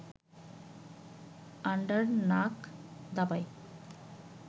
Andernach দাবায়